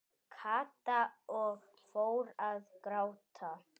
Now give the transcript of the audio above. Kata og fór að gráta.